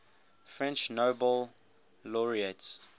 french nobel laureates